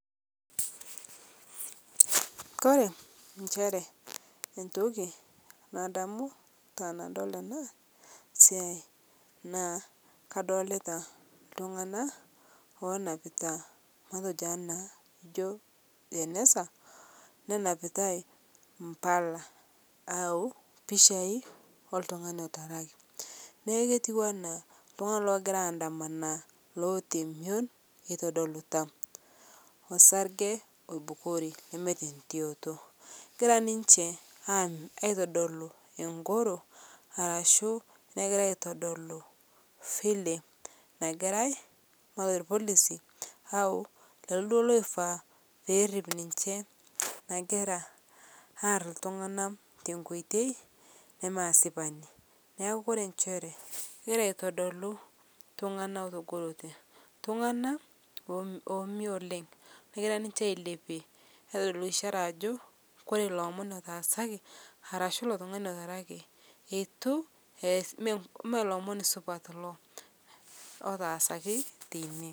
Kore enshere entoki nadamu tanadol ana siai naa kadolita ltung'ana lonapitaa matejo ana ijo jeneza, nenapitai mpalaa au pichai oltung'ani etarakii naa ketuwana ltung'ana egiraa ayandamana loetaa mion eitodilta osargee oibukorii lemeata ntioto, egira ninshe ang' aitodoluu eng'oro arashu negira aitodolu vile nagirai matejo lpolisi au leloo duo eifaa perip ninshe nagira aar ltung'ana tenkoitei nemaa asipanii naaku kore nchere kegira aitodoluu ltung'ana etogorotee ltung'ana omio oleng' negira ninshe ailepie aitodolu ishara ajo kore lo omon etaasaki arashu ilo tung'ani etarakii etu eas mee lomon supat iloo lotaasaki teinie.